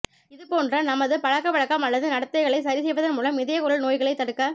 இதுபோன்ற நமது பழக்கவழக்கம் அல்லது நடத்தைகளை சரிசெய்வதன் மூலம் இதயக்குழல் நோய்களைத் தடுக்க